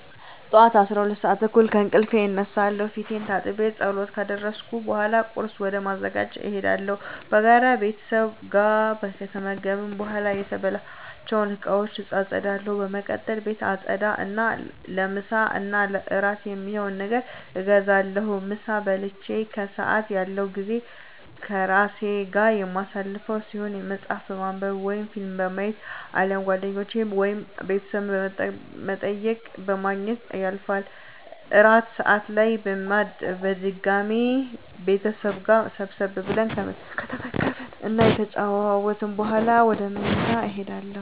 ጠዋት 12:30 ከእንቅልፌ እነሳለሁ። ፊቴን ታጥቤ ፀሎት ካደረስኩ በኃላ ቁርስ ወደ ማዘጋጀት እሄዳለሁ። በጋራ ቤተሰብ ጋር ከተመገብን በኃላ የተበላባቸውን እቃወች አፀዳለሁ። በመቀጠል ቤት አፀዳ እና ለምሳ እና እራት የሚሆን ነገር አዘጋጃለሁ። ምሳ በልቼ ከሰአት ያለው ጊዜ ከራሴ ጋር የማሳልፈው ሲሆን መፀሀፍ በማንብ ወይም ፊልም በማየት አሊያም ጓደኞቼን ወይም ቤተሰብ በመጠየቅ በማግኘት ያልፋል። እራት ሰአት ላይ በድጋሚ ቤተሰብ ጋር ሰብሰብ ብለን ከተመገብን እና ከተጨዋወትን በኃላ ወደ ምኝታ እሄዳለሁ።